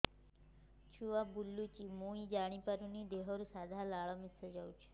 ଛୁଆ ବୁଲୁଚି ମୁଇ ଜାଣିପାରୁନି ଦେହରୁ ସାଧା ଲାଳ ମିଶା ଯାଉଚି